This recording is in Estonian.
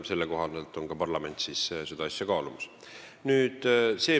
Selle koha pealt tuleb ka parlamendil seda asja kaaluda.